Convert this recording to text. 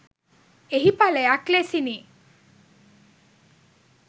එහි ඵලයක් ලෙසිනි.